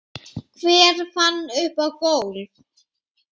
Hver fann upp golf?